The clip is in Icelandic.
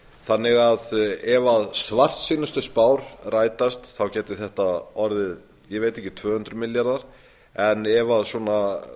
þannig að ef svartsýnustu spár rætast gætu þetta orðið tvö hundruð milljarðar en ef svona